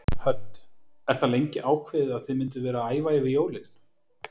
Hödd: Er það löngu ákveðið að þið mynduð vera að æfa yfir jólin?